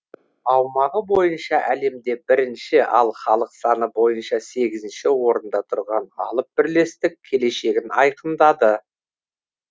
аумағы бойынша әлемде бірінші ал халық саны бойынша сегізінші орында тұрған алып бірлестік келешегін айқындады